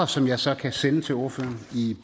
som jeg så kan sende til ordføreren i